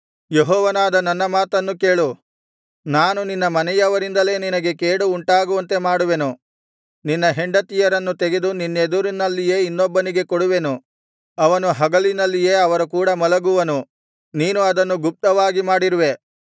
ಯೆಹೋವನಾದ ನನ್ನ ಮಾತನ್ನು ಕೇಳು ನಾನು ನಿನ್ನ ಮನೆಯವರಿಂದಲೇ ನಿನಗೆ ಕೇಡು ಉಂಟಾಗುವಂತೆ ಮಾಡುವೆನು ನಿನ್ನ ಹೆಂಡತಿಯರನ್ನು ತೆಗೆದು ನಿನ್ನೆದುರಿನಲ್ಲಿಯೇ ಇನ್ನೊಬ್ಬನಿಗೆ ಕೊಡುವೆನು ಅವನು ಹಗಲಿನಲ್ಲಿಯೇ ಅವರ ಕೂಡ ಮಲಗುವನು ನೀನು ಅದನ್ನು ಗುಪ್ತವಾಗಿ ಮಾಡಿರುವೆ